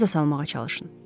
Yadınıza salmağa çalışın.